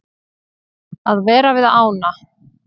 Að vera við ána.